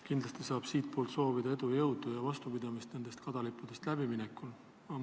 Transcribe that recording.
Kindlasti soovin ka omalt poolt edu, jõudu ja vastupidamist nendest kadalippudest läbiminekuks!